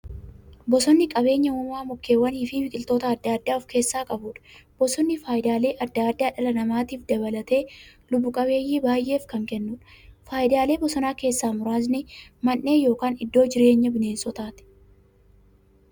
Bosonni qabeenya uumamaa mukkeewwaniifi biqiltoota adda addaa of keessaa qabudha. Bosonni faayidaalee adda addaa dhala namaa dabalatee lubbuu qabeeyyii baay'eef kan kennuudha. Faayidaalee bosonaa keessaa muraasni; Mandhee yookin iddoo jireenya bineensotaati.